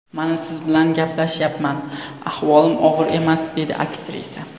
Mana siz bilan gaplashyapman, ahvolim og‘ir emas”, dedi aktrisa.